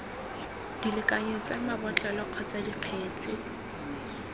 dilekanyo tsa mabotlolo kgotsa dikgetse